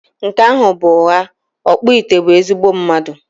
Nke ahụ bụ ụgha, ọkpụite bụ ezigbo mmadụ